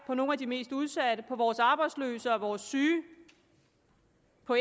for nogle af de mest udsatte vores arbejdsløse og vores syge